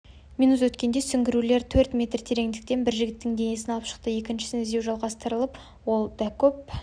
минут өткенде сүңгуірлер төрт метр тереңдіктен бір жігіттің денесін алып шықты екіншісін іздеу жалғастырылып ол дакөп